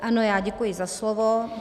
Ano, já děkuji za slovo.